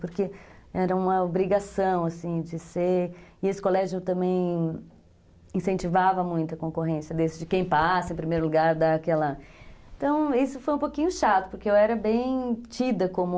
Porque era uma obrigação, assim, de ser... E esse colégio também incentivava muito a concorrência desse, de quem passa em primeiro lugar, dá aquela... Então, isso foi um pouquinho chato, porque eu era bem tida como...